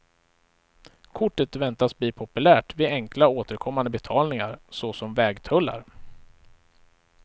Kortet väntas bli populärt vid enkla återkommande betalningar såsom vägtullar.